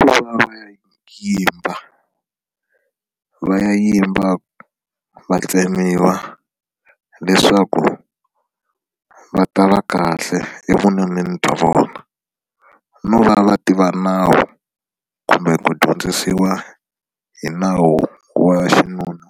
I ku va va ya yimba va ya yimba va tsemiwa leswaku va ta va kahle evununeni bya vona no va va ti va nawu kumbe ku dyondzisiwa hi nawu wa xinuna